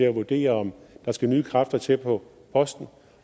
at vurdere om der skal nye kræfter til på posten